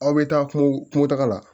Aw bɛ taa kungo kungo taga la